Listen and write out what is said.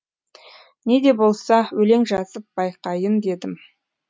не де болса өлең жазып байқайын дедім